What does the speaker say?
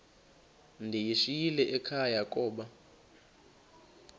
ndiyishiyile ekhaya koba